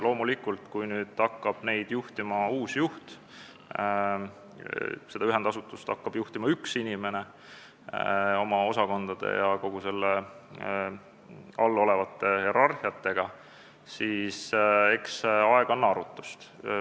Loomulikult, kui hakkab juhtima uus juht, üks inimene hakkab juhtima seda ühendasutust koos kõigi selle osakondade ja seal olevate hierarhiatega, siis eks aeg annab arutust.